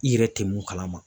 I yɛrɛ tɛ mun kalama.